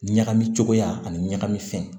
Ɲagami cogoya ani ɲagami fɛn